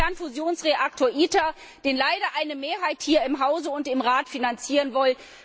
den Kernfusionsreaktor ITER, den leider eine Mehrheit hier im Hause und im Rat finanzieren will.